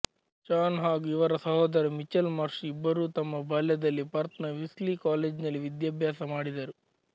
ಶಾನ್ ಹಾಗೂ ಇವರ ಸಹೋದರ ಮಿಚ್ಚೆಲ್ ಮಾರ್ಶ್ ಇಬ್ಬರೂ ತಮ್ಮ ಬಾಲ್ಯದಲ್ಲಿ ಪರ್ತ್ ನ ವೀಸ್ಲಿ ಕಾಲೇಜಿನಲ್ಲಿ ವಿದ್ಯಾಭ್ಯಾಸ ಮಾಡಿದರು